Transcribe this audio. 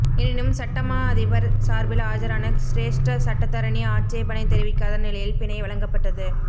எனினும் சட்டமா அதிபர் சார்பில் ஆஜரான சிரேஷ்ட சட்டத்தரணி ஆட்சேபனை தெரிவிக்காத நிலையில் பிணை வழங்கப்பட்டது